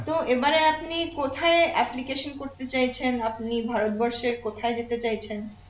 তো এবারে আপনি কোথায় application করতে চাইছেন আপনি ভারতবর্ষের কোথায় যেতে চাইছেন